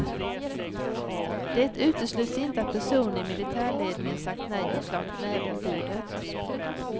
Det utesluts inte att personer i militärledningen sagt nej och slagit näven i bordet.